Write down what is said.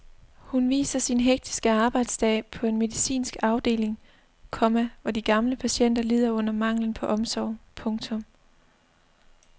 Hun viser sin hektiske arbejdsdag på en medicinsk afdeling, komma hvor de gamle patienter lider under manglen på omsorg. punktum